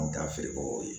An bɛ taa feere kɛ o ye